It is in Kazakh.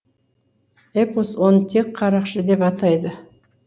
эпос оны тек қарақшы деп атайды